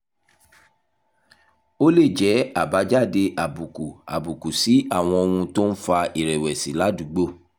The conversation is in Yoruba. ó lè jẹ́ àbájáde àbùkù àbùkù sí àwọn ohun tó ń fa ìrẹ̀wẹ̀sì ládùúgbò